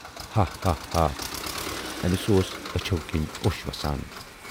ہا ہا ہا ہا! أمِس اوس أچھو کِنۍ اوٚش وَسان۔